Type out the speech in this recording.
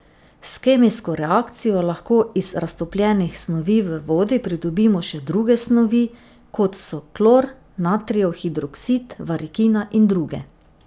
S kemijsko reakcijo lahko iz raztopljenih snovi v vodi pridobimo še druge snovi, kot so klor, natrijev hidroksid, varikina in druge.